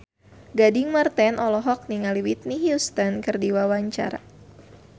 Gading Marten olohok ningali Whitney Houston keur diwawancara